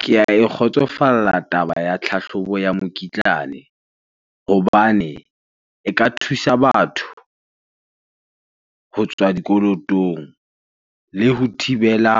Ke ae kgotsofalla taba ya tlhahlobo ya mokitlane. Hobane e ka thusa batho ho tswa dikolotong le ho thibela